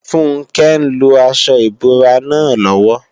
Funke ń lo aṣọ ìbora náà lọ́wọ́